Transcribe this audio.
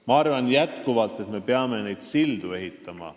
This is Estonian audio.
Ma arvan jätkuvalt, et me peame neid sildu ehitama.